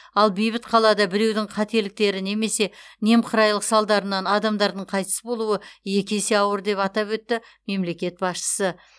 ал бейбіт қалада біреудің қателіктері немесе немқұрайлық салдарынан адамдардың қайтыс болуы екі есе ауыр деп атап өтті мемлекет басшысы